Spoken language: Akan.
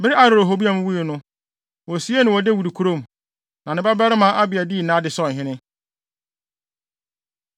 Bere a Rehoboam wui no, wosiee no wɔ Dawid kurom. Na ne babarima Abia dii nʼade sɛ ɔhene.